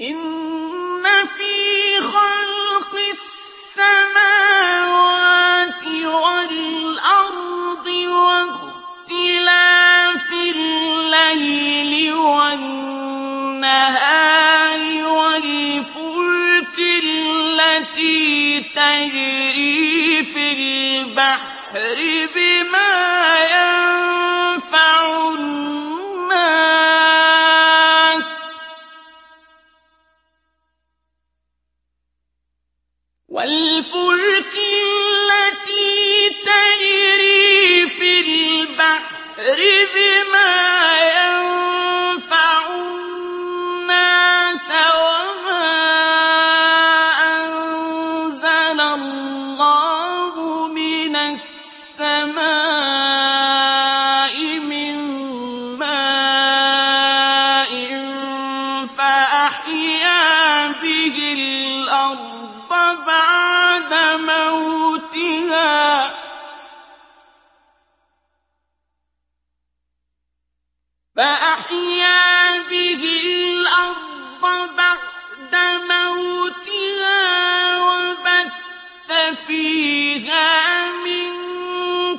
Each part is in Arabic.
إِنَّ فِي خَلْقِ السَّمَاوَاتِ وَالْأَرْضِ وَاخْتِلَافِ اللَّيْلِ وَالنَّهَارِ وَالْفُلْكِ الَّتِي تَجْرِي فِي الْبَحْرِ بِمَا يَنفَعُ النَّاسَ وَمَا أَنزَلَ اللَّهُ مِنَ السَّمَاءِ مِن مَّاءٍ فَأَحْيَا بِهِ الْأَرْضَ بَعْدَ مَوْتِهَا وَبَثَّ فِيهَا مِن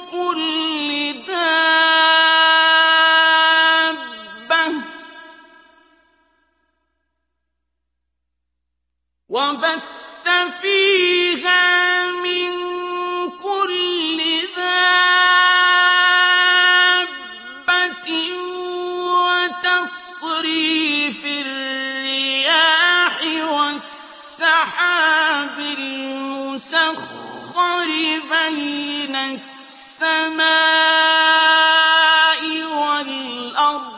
كُلِّ دَابَّةٍ وَتَصْرِيفِ الرِّيَاحِ وَالسَّحَابِ الْمُسَخَّرِ بَيْنَ السَّمَاءِ وَالْأَرْضِ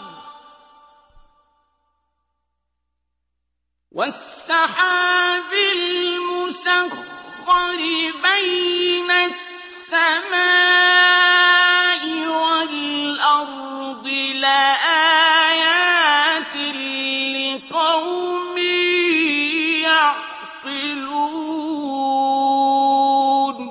لَآيَاتٍ لِّقَوْمٍ يَعْقِلُونَ